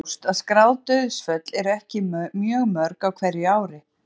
Þó er ljóst að skráð dauðsföll eru ekki mjög mörg á hverju ári.